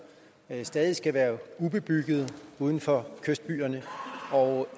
stadig skal være ubebyggede uden for kystbyerne og